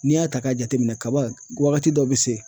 N'i y'a ta k'a jate minɛn kaba wagati dɔ bɛ se